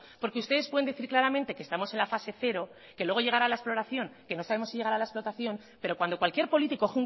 porque ustedes pueden decir claramente que estamos en la fase cero que luego llegará la exploración que no sabemos si llegará la explotación pero cuando cualquier político